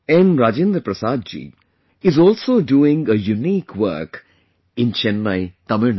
Rajendra Prasad ji is also doing a unique work in Chennai, Tamil Nadu